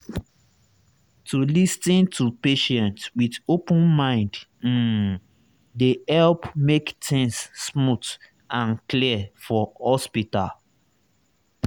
to lis ten to patient with open mind um dey help make things smooth and clear for hospital.